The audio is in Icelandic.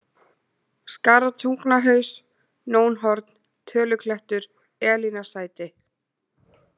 Skaratungnahaus, Nónhorn, Töluklettur, Elínarsæti